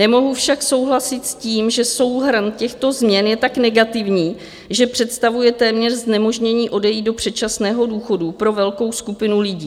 Nemohu však souhlasit s tím, že souhrn těchto změn je tak negativní, že představuje téměř znemožnění odejít do předčasného důchodu pro velkou skupinu lidí.